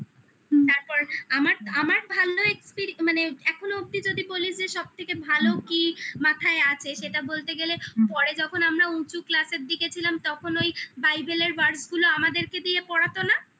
তারপর আমার আমার ভালো experience মানে এখনো অব্দি যদি বলিস যে সবথেকে ভালো কি মাথায় আছে সেটা বলতে গেলে পরে যখন আমরা উঁচু class এর দিকে ছিলাম তখন ওই Bible এর words গুলো আমাদেরকে দিয়ে পড়াতো না?